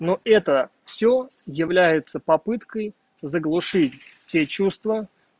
ну это всё является попыткой заглушить те чувства